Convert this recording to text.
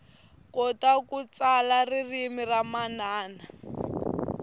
kota ku tsala ririmi ra manana